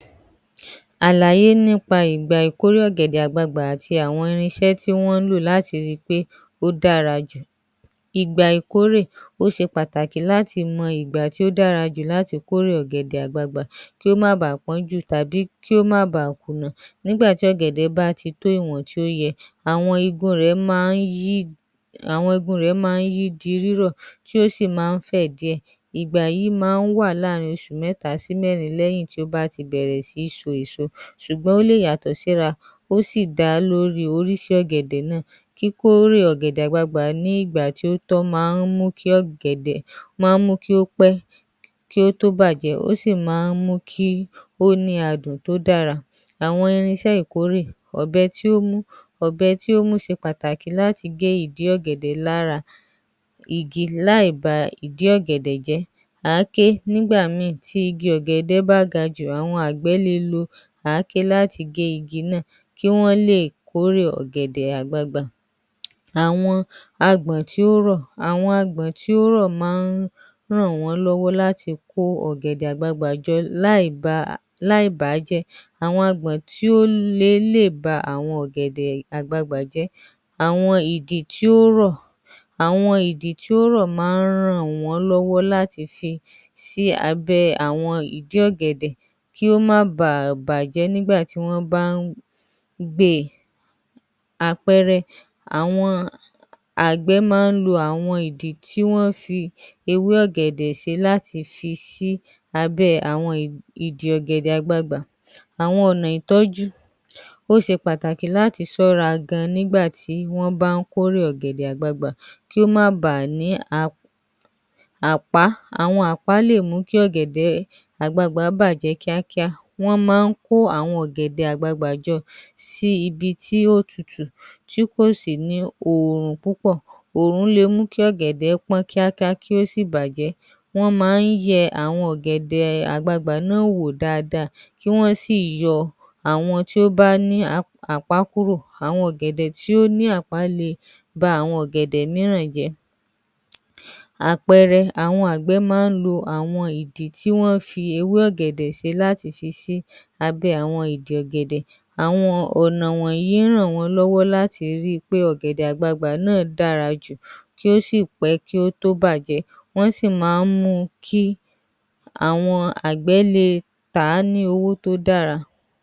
Àlàyé nípa ìgbà ìkórè ọ̀gẹ̀dẹ̀ Àgbagbàá àti àwọn irinsẹ́ tí wọ́n ń lò láti rí i pé ó dára jù, ìgbà ìkórè ó ṣe pàtàkì láti mọ ìgbà tí ó dára jù láti kórè ọ̀gẹ̀dẹ̀ àgbagbàá, kí ó má bàa pọ́n jù tàbí kí ó má bá à kùnà nígbà tí ọ̀gẹ̀dẹ̀ bá ti tó ìwọ̀n tí ó yẹ, àwọn eegun rẹ máa ń yí di rírọ̀ tí ó sì máa ń fẹ̀ díẹ̀, ìgbà yìí máa ń wà láàrin oṣù mẹ́ta sí mẹ́rin nígbà tí ó bá ti bẹ̀rẹ̀ sí ní so èso, ṣùgbọ́n ó lè yàtọ̀ síra ó sì dá a ní orísìí ọ̀gẹ̀dẹ̀ náà, kí kórè ọ̀gẹ̀dẹ̀ Àgbagbàá nígbà tí ó tọ́ máa ń mú kí ọ̀gẹ̀dẹ̀ pẹ́ kí ó tó bàjẹ́ ó sì máa ń mú kí ó ní adùn tó dára, àwọn irinsẹ́ ìkórè ‎Ọ̀bẹ tí ó mú:ọ̀bẹ tí ó mú ṣẹ pàtàkì láti gé ìdí ọ̀gẹ̀dẹ̀ lára, láì ba ìdí ọ̀gẹ̀dẹ̀ jẹ́, àáké nígbà míì, nígbà tí igi ọ̀gẹ̀dẹ̀ bá ga jù, àwọn àgbẹ̀ le lo igi ọ̀gẹ̀dẹ̀ láti gé igi náà kí Wọ́n lè kórè ọ̀gẹ̀dẹ̀ àgbagbàá, àwọn àgbọn tí ó rọ̀, àwọn agbọ̀n tí ó rọ̀ máa ń ràn wọ́n lọ́wọ́ láti kó ọ̀gẹ̀dẹ̀ àgbagbàá jọ láì bà á jẹ́, àwọn agbọ̀n tí ó le lè ba awon ọ̀gẹ̀dẹ̀ àgbagbà jẹ́, àwọn ìdì tí ó rọ̀ máa ń ràn wọ́n lọ́wọ́ láti fi sí abẹ́ àwọn, ewé ọ̀gẹ̀dẹ̀ kí ó má ba à bàjẹ́ nígbà tí ó bá ń gbé e, àpẹẹrẹ, àwọn àgbẹ̀ máa ń lo àwọn ìdì tí wọ́n fi ewé ọ̀gẹ̀dẹ̀ ṣe láti fi sí abẹ́ àwọn ìdì ọ̀gẹ̀dẹ̀ àgbagbà, àwọn ọ̀nà ìtọ́jú, ó ṣe pàtàkì láti sọ́ra gan nígbà tí wọ́n ń bá ń kórè ọ̀gẹ̀dẹ̀ àgbagbà kí ó má ba à ní àpá, àpá máa ń mú kí ọ̀gẹ̀dẹ̀ àgbagbà bàjẹ́ kíákíá wọ́n máa kó àwọn ọ̀gẹ̀dẹ̀ àgbagbà jọ sí ibi tó tútù tí kò sì ní Òòrùn púpọ̀, oòrùn le mú kí ọ̀gẹ̀dẹ̀ pọ́n kíákíá kí ó sì bàjẹ́ wọ́n máa ń yẹ àwọn ọ̀gẹ̀dẹ̀ àgbagbà náà wò dáadáa kí Wọ́n sì yọ àwọn èyí tí ó bá ní àpá kúrò, àwọn ọ̀gẹ̀dẹ̀ tí ó ní àpá lára kúrò kí ó má bàa ba àwọn ọ̀gẹ̀dẹ̀ mìíràn jẹ́, àpẹẹrẹ àwọn àgbẹ̀ máa ń lo àwọn ìdí tí wọ́n bá fi ewé ọ̀gẹ̀dẹ̀ ṣe láti fi sí àwọn ìdí ọ̀gẹ̀dẹ̀ àwọn ọ̀nà wọ̀nyí ń ràn wọ́n lọ́wọ́ láti rí I pé ọ̀gẹ̀dẹ̀ àgbagbà náà dára jù ó sì pẹ́ kí ó tó bàjẹ́ wọ́n sì máa ń mú kí àwọn àgbẹ̀ le tàá ní owó tó dára. ‎‎